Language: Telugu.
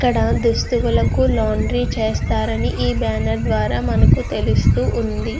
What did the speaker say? ఇక్కడ దుస్తువులకు లాండ్రీ చేస్తారని ఈ బ్యాన్నేర్ ద్వార మనకు తెలుస్తూ వుంది.